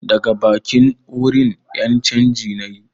Daga bankin, wurin ƴan canji nayi